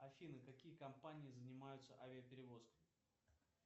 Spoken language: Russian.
афина какие компании занимаются авиаперевозками